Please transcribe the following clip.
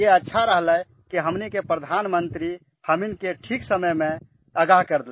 यह अच्छा हुआ कि हमारे प्रधानमंत्री ने हमें ठीक समय पर आगाह कर दिया